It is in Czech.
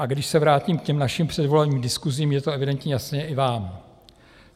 A když se vrátím k těm našim předvolebním diskusím, je to evidentně jasné i vám.